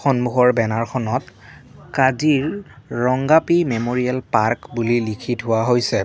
সন্মুখৰ বেনাৰখনত কাজিৰ ৰংগাপি মেমৰীয়েল পাৰ্ক বুলি লিখি থোৱা হৈছে।